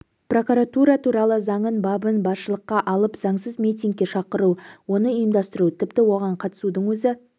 прокуратура туралы заңның бабын басшылыққа алып заңсыз митингке шақыру оны ұйымдастыру тіпті оған қатысудың өзі